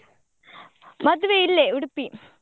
ಮದ್ವೆ ಇಲ್ಲೇ Udupi .